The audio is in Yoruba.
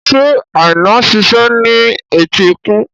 Ṣé Aina ń ṣiṣẹ́ ní etíkun?